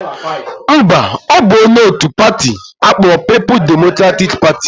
Mba, ọ bụ onye otu pati akpọrọ People Democratic Party